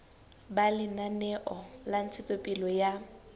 ba lenaneo la ntshetsopele ya